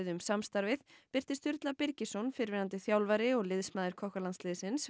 um samstarfið birti Sturla Birgisson fyrrverandi þjálfari og liðsmaður